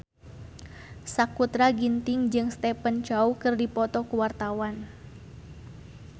Sakutra Ginting jeung Stephen Chow keur dipoto ku wartawan